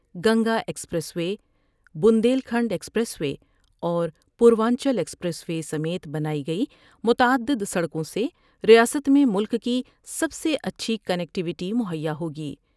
Ganga expressway, Bundelkhand expressway اور Purvanchal expressway سمیت بنائی گئی متعد دسڑکوں سے ریاست میں ملک کی سب سے اچھی کنکٹیوٹی مہیا ہوگی ۔